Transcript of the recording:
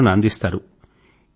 సూచనల ను అందిస్తారు